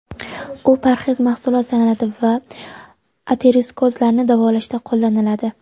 U parhez mahsulot sanaladi va aterosklerozni davolashda qo‘llaniladi.